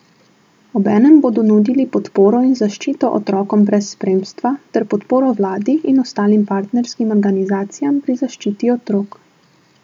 Obenem bodo nudili podporo in zaščito otrokom brez spremstva ter podporo vladi in ostalim partnerskim organizacijam pri zaščiti otrok.